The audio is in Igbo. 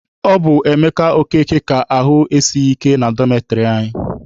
Ọ bụ Emeka Okeke ka ahụ esighị ike na dọmetịrị anyị.